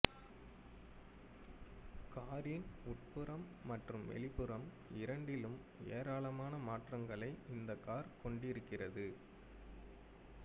காரின் உட்புறம் மற்றும் வெளிப்புறம் இரண்டிலும் ஏராளமான மாற்றங்களை இந்தக் கார் கொண்டிருக்கிறது